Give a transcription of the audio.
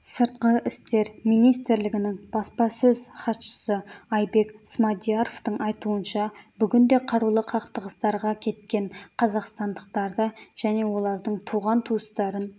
сыртқы істер министрлігінің баспасөз хатшысы айбек смадияровтың айтуынша бүгінде қарулы қақтығыстарға кеткен қазақстандықтарды және олардың туған-туыстарын